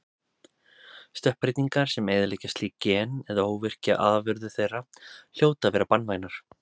Stökkbreytingar sem eyðileggja slík gen eða óvirkja afurðir þeirra hljóta að vera banvænar.